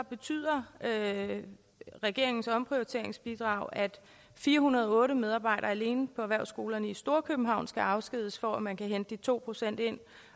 betyder regeringens omprioriteringsbidrag at fire hundrede og otte medarbejdere alene på erhvervsskolerne i storkøbenhavn skal afskediges for at man kan hente de to procent ind